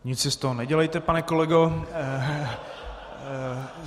Nic si z toho nedělejte, pane kolego.